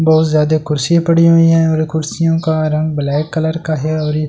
बहुत जादा कुर्सियां पड़ी हुई है और ये कुर्सियों का रंग ब्‍लैक कलर का है और ये है अ--